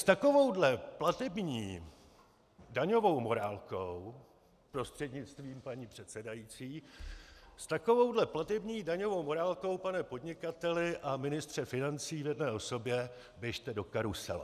S takovouhle platební daňovou morálkou, prostřednictvím paní předsedající, s takovouhle platební daňovou morálkou, pane podnikateli a ministře financí v jedné osobě, běžte do karusele.